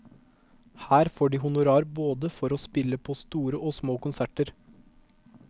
Her får de honorar for å spille både på store og små konserter.